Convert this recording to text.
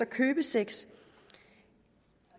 købesex